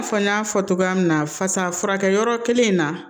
I n'a fɔ n y'a fɔ cogoya min na fasa furakɛ yɔrɔ kelen in na